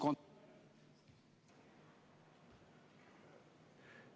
Ma saaks kontrollida.